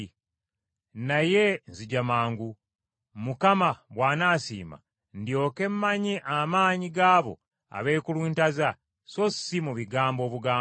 Naye nzija mangu, Mukama bw’anaasiima ndyoke mmanye amaanyi g’abo abeekuluntaza so si mu bigambo obugambo.